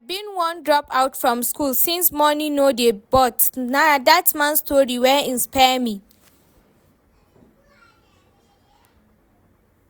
I bin wan drop out from school since money no dey but na dat man story wey inspire me